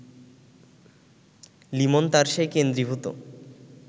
লিমন তার সেই কেন্দ্রীভূত